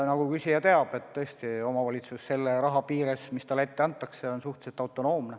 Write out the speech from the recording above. Nagu küsija teab, tõesti, omavalitsus selle raha piires, mis talle ette antakse, on suhteliselt autonoomne.